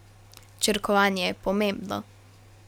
Črkovanje je pomembno.